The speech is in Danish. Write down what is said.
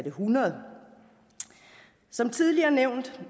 100 som tidligere nævnt